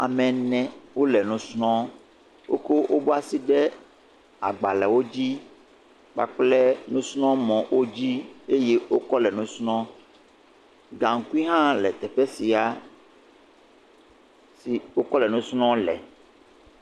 Ame ene wole nu srɔ̃m. Woko woƒe asi le agbalewo dzi kpakple nusrɔ̃mɔwo dzi eye wokɔ le nu srɔ̃. Gaŋkui hã sia teƒe sia si wokɔ le nu srɔ̃ le.